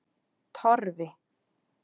Torfi